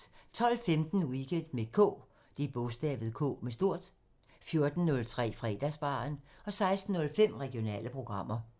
12:15: Weekend med K 14:03: Fredagsbaren 16:05: Regionale programmer